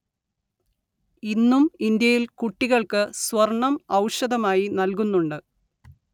ഇന്നും ഇന്ത്യയില്‍ കുട്ടികള്‍ക്ക് സ്വര്‍ണ്ണം ഔഷധമായി നല്‍കുന്നുണ്ട്